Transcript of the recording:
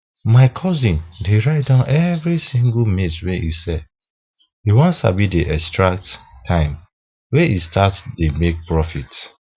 my cousin dey write down every single maize wey e sell e wan sabi the exact time wey e start to dey make profit